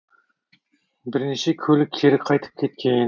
бірнеше көлік кері қайтып кеткен